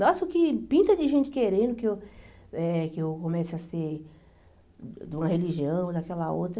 Nossa, o que pinta de gente querendo que eu eh que eu comece a ser de uma religião ou daquela outra.